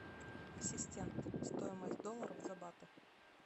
ассистент стоимость долларов за баты